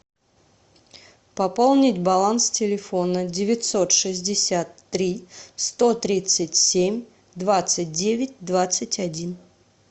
пополнить баланс телефона девятьсот шестьдесят три сто тридцать семь двадцать девять двадцать один